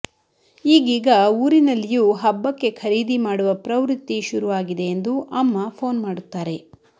ಈಗೀಗ ಊರಿನಲ್ಲಿಯೂ ಹಬ್ಬಕ್ಕೆ ಖರೀದಿ ಮಾಡುವ ಪ್ರವೃತ್ತಿ ಶುರು ಆಗಿದೆ ಎಂದು ಅಮ್ಮ ಫೋನ್ ಮಾಡುತ್ತಾರೆ